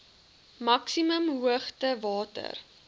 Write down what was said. maksimum hoogte water